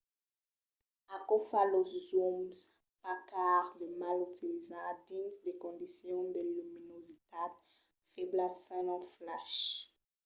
aquò fa los zooms pas cars de mal utilizar dins de condicions de luminositat febla sens un flash